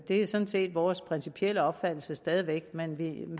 er sådan set vores principielle opfattelse stadig væk men vi